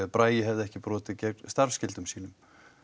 Bragi hefði ekki brotið gegn starfsskyldum sínum